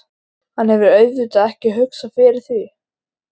Hann hefur auðvitað ekki hugsað fyrir því?